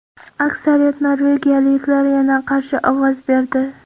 Aksariyat norvegiyaliklar yana qarshi ovoz berdi.